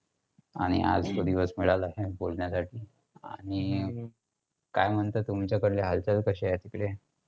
आणि आज तो दिवस मिळाला बोलण्यासाठी. आणि काय म्हणताय तुमच्याकडले हालचाल कशे आहेत तिकडे?